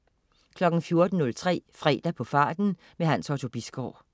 14.03 Fredag på farten. Hans Otto Bisgaard